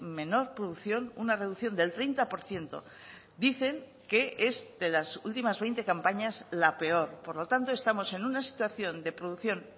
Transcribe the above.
menor producción una reducción del treinta por ciento dicen que es de las ultimas veinte campañas la peor por lo tanto estamos en una situación de producción